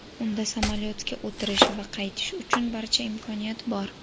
Unda samolyotga o‘tirish va qaytish uchun barcha imkoniyat bor.